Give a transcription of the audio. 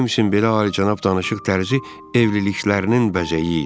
Jamesin belə alicənab danışıq tərzi evliliklərinin bəzəyi idi.